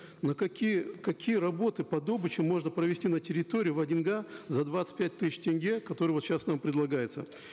на какие какие работы по добычам можно провести на территории в один га за двадцать пять тысяч тенге которые вот сейчас нам предлагаются